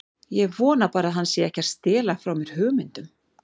Ég vona bara að hann sé ekki að stela frá mér hugmyndum.